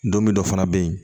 Don min dɔ fana bɛ yen